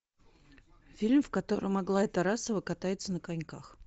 фильм в котором аглая тарасова катается на коньках